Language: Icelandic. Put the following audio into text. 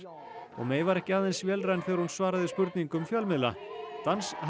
og May var ekki aðeins vélræn þegar hún svaraði spurningum fjölmiðla